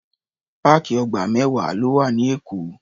Páàkì ọgbà mẹ́wàá ló wà ní Èkó.